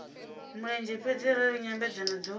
mulenzhe fhedzi arali nyambedzano dzo